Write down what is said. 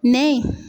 Nɛ ye